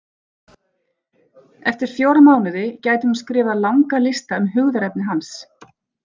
Eftir fjóra mánuði gæti hún skrifað langa lista um hugðarefni hans.